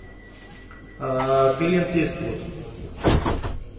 клинт иствуд